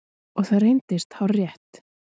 Og það reyndist hárrétt.